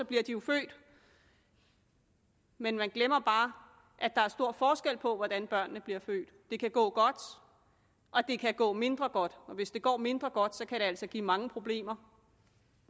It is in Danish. bliver de jo født men man glemmer bare at der er stor forskel på hvordan børnene bliver født det kan gå godt og det kan gå mindre godt og hvis det går mindre godt kan det altså give mange problemer